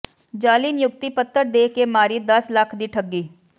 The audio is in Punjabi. ਜਾਅਲੀ ਨਿਯੁਕਤੀ ਪੱਤਰ ਦੇ ਕੇ ਮਾਰੀ ਦਸ ਲੱਖ ਦੀ ਠੱਗੀ